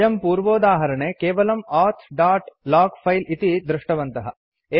वयं पूर्वोदाहरणे केवलं औथ दोत् लोग फिले इति दृष्टवन्तः